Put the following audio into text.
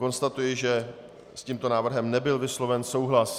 Konstatuji, že s tímto návrhem nebyl vysloven souhlas.